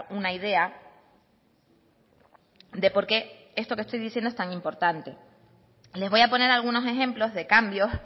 una idea de por qué esto que estoy diciendo es tan importante les voy a poner algunos ejemplos de cambios